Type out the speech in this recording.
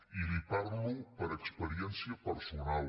i li parlo per experiència personal